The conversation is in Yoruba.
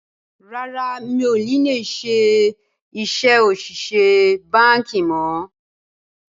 Rárá, mi ò ní lè ṣe iṣẹ́ òṣìṣẹ́ báńkì mọ̀